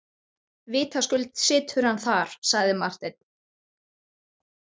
Vitaskuld situr hann þar, sagði Marteinn.